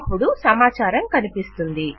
అపుడు సమాచారం కనిపిస్తుంది